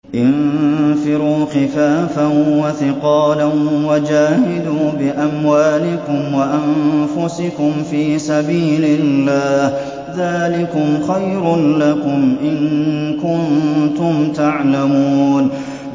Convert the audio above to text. انفِرُوا خِفَافًا وَثِقَالًا وَجَاهِدُوا بِأَمْوَالِكُمْ وَأَنفُسِكُمْ فِي سَبِيلِ اللَّهِ ۚ ذَٰلِكُمْ خَيْرٌ لَّكُمْ إِن كُنتُمْ تَعْلَمُونَ